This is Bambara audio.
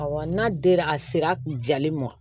Awɔ n'a dira a sera jalen ma